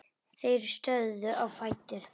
Þeir stóðu á fætur.